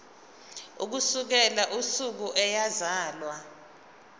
ukusukela usuku eyazalwa